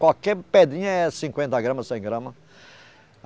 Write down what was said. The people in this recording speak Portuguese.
Qualquer pedrinha é cinquenta gramas, cem gramas.